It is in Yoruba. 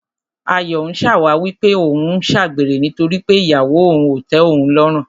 Ayọ̀ ń ṣàwáwí pé òun ń ṣàgbèrè nítorí pé ìyàwó òun ò tẹ́ òun lọ́rùn.